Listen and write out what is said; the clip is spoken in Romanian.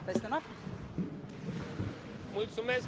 Mulțumesc doamnei Grapini pentru întrebare.